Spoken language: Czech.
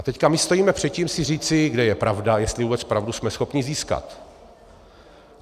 A teď my stojíme před tím si říci, kde je pravda, jestli vůbec pravdu jsme schopni získat.